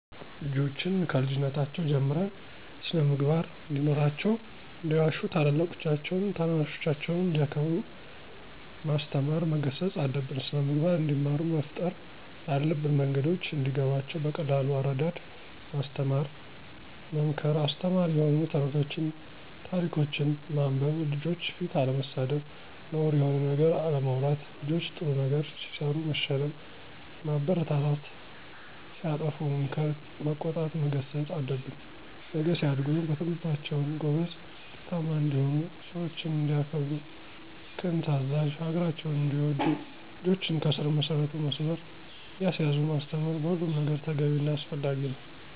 ልጆችን ከልጅነታቸው ጀምረን ስን-ምግባር እንዲኖራቸው እንዳይዋሹ ታላላቆቻቸውን ታናናሾቻቸውንም እንዲያከብሩ ማስተማር መገሰፅ አለብን። ስነምግባር እንዲማሩ መፍጠር ያለብን መንገዶች እንዲገባቸው በቀላል አረዳድ ማስተማር መምከር አስተማሪ የሆኑ ተረቶችን ታሪኮችን ማንበብ፣ ልጆች ፊት አለመሳደብ፣ ነውር የሆነ ነገር አለማውራት ልጆች ጥሩ ነገር ሲሰሩ መሸለም ማበረታታት ሲያጠፉ መምከር መቆጣት መገሰፅ አለብን። ነገ ሲያድጉ በትምህርታቸውም ጎበዝ ውጤታማ እንዲሆኑ፣ ሰውችን እንዲያከብሩ፦ ቅን ታዛዥ፣ ሀገራቸውን እንዲወዱ ልጆችን ከስር መሰረቱ መስመር እያሳዙ ማስተማር በሁሉም ነገር ተገቢ እና አስፈላጊ ነው።